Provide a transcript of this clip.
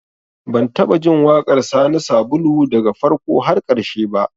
Ban taɓa jin waƙar Sani Sabulu daga farko har ƙarshe ba